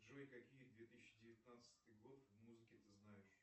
джой какие две тысячи девятнадцатый год музыки та знаешь